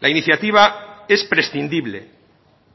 la iniciativa es prescindible